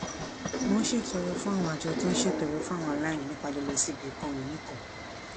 mo ń ṣètọrẹ fún àwọn àjọ tó ń ṣètọrẹ fún àwọn aláìní nípa lílọ sí ibi ìkóhunìní kan